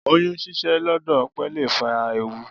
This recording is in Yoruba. Oyún ṣíṣẹ́ lọ́dọ̀ òpè lè fa ewu.